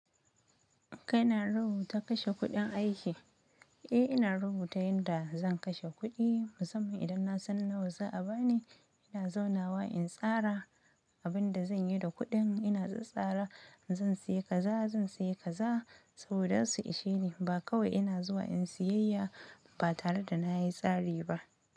Kai na rubuta kashe kuɗin aiki? Eh, ina rubuta yanda zan kashe kuɗi. Musamman idan na san nawa za a ba ni, ina zaunawa in tsara abin da zan yi da kuɗin. Ina tsatsara, zan sayi kaza, zan sayi kaza saboda za su ishe ni. Ba kawai ina zuwa in siyayya ba tare da na yi tsari ba.